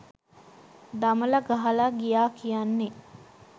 දමල ගහලා ගියා කියන්නෙ